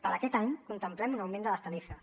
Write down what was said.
per a aquest any contemplem un augment de les tarifes